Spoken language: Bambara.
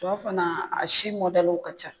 Sɔ fana a si mɔdaliw ka ca.